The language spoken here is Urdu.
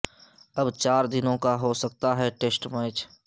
اب چار دنوں کا ہو سکتا ہے ٹیسٹ میچ